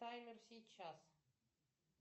таймер сейчас